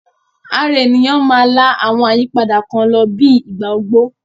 Ara ènìyàn máa la àwọn àyípadà kan lọ bíi ìgbà ogbó